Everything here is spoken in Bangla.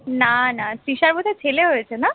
না না তৃষার বোধহয় ছেলে হয়েছে না